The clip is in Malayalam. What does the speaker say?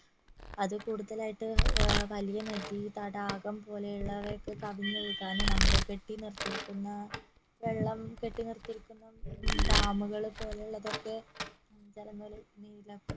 അതിൽ കൂടുതലായിട്ട് ഏർ വലിയ നദി തടാകം പോലെയുള്ളവ ഒക്കെ കവിഞ്ഞൊഴുകാനും നമ്മള് കെട്ടി നിർത്തിയിരിക്കുന്ന വെള്ളം കെട്ടി നിർത്തിയിരിക്കുന്ന ഡാമുകള് പോലുള്ളതൊക്കെ